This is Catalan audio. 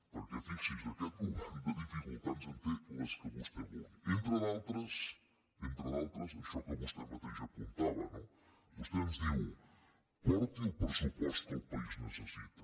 perquè fixi’s aquest govern de dificultats en té les que vostè vulgui entre d’altres entre d’altres això que vostè mateix apuntava no vostè ens diu porti el pressupost que el país necessita